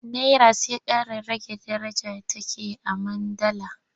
Nera sai ƙara rage daraja take a man dala.